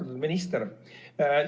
Austatud minister!